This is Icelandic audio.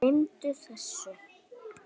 Gleymdu þessu.